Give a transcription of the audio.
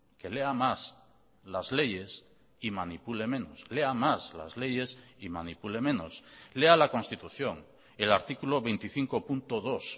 que lea más las leyes y manipule menos lea más las leyes y manipule menos lea la constitución el artículo veinticinco punto dos